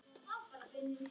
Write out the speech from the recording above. Síðan heldur hún af stað.